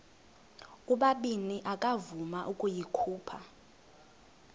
ubabini akavuma ukuyikhupha